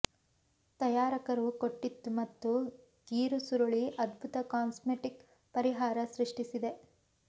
ತಯಾರಕರೂ ಕೊಟ್ಟಿತ್ತು ಮತ್ತು ಗೀರು ಸುರುಳಿ ಅದ್ಭುತ ಕಾಸ್ಮೆಟಿಕ್ ಪರಿಹಾರ ಸೃಷ್ಟಿಸಿದೆ